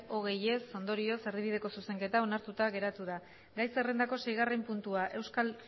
hogei ez ondorioz erdibideko zuzenketa onartuta geratu da gai zerrendako seigarren puntua euskal